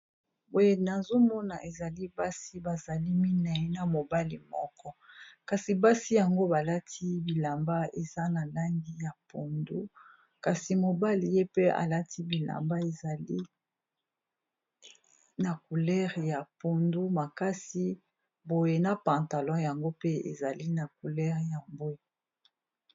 Boye nazomona ezali basi bazali mine na mobali moko kasi basi yango balati bilamba eza na langi ya pondu, kasi mobali ye pe alati bilamba ezali na coulere ya pondu makasi boye na pantalo yango pe ezali na coulere ya bwe.